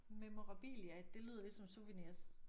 Memorabilia det lyder lidt som sourveniers